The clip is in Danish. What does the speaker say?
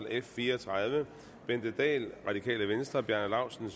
f fire og tredive bente dahl bjarne laustsen